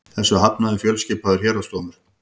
Þessu hafnaði fjölskipaður héraðsdómur